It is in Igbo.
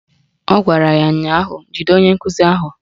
Ọ gwara ya ụnyaahụ "Jide onye nkụzi ahụ"!